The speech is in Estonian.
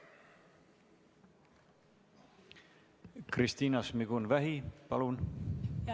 Kristina Šmigun-Vähi, palun!